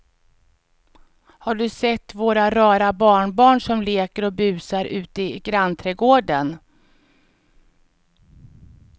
Har du sett våra rara barnbarn som leker och busar ute i grannträdgården!